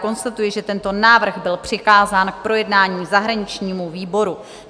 Konstatuji, že tento návrh byl přikázán k projednání zahraničnímu výboru.